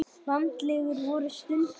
Landlegur voru stundum.